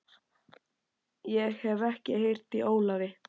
Ég hef ekkert heyrt í Ólafi.